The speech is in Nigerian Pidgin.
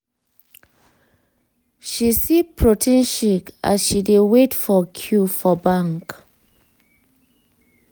she sip protein as she dey wait for queue for bank.